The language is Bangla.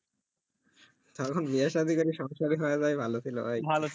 তখন বিয়ে সাধি করে সংসার ই হয়ে যাওয়াই ভালো ছিল ভাই